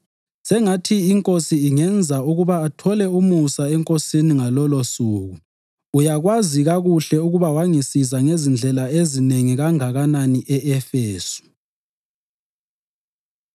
Sengathi iNkosi ingenza ukuba athole umusa eNkosini ngalolosuku! Uyakwazi kakuhle ukuba wangisiza ngezindlela ezinengi kangakanani e-Efesu.